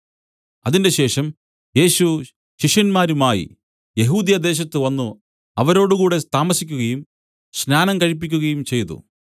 അതിന്‍റെശേഷം യേശു ശിഷ്യന്മാരുമായി യെഹൂദ്യദേശത്ത് വന്നു അവരോടുകൂടെ താമസിക്കുകയും സ്നാനം കഴിപ്പിക്കുകയും ചെയ്തു